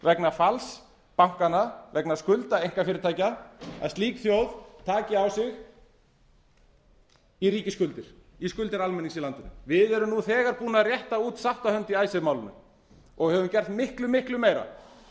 vegna falls bankanna vegna skulda einkafyrirtækja að slík þjóð taki á sig í ríkisskuldir í skuldir almennings í landinu við erum nú þegar búnir að rétta út sáttarhönd í icesave málinu og höfum gert miklu miklu meira